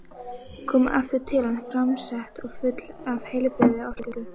Kom aftur til hans framsett og full af heilbrigðri orku.